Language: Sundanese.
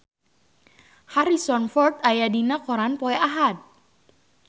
Harrison Ford aya dina koran poe Ahad